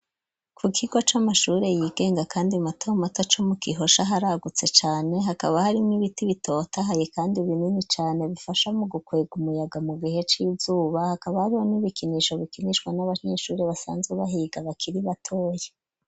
Ku kigo c'amashure yigenga, kandi matomato co mu Gihosha haragutse cane, hakaba harimwo ibiti bitotahaye, kandi binini cane bifasha mu gukwega umuyaga mu gihe c'izuba, hakaba hariho n'ibikinisho bikinishwa n'abanyeshure basanzwe bahiga bakiri batoya.